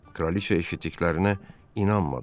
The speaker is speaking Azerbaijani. Kraliça eşitdiklərinə inanmadı.